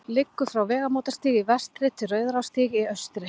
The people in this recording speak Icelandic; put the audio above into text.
liggur frá vegamótastíg í vestri til rauðarárstígs í austri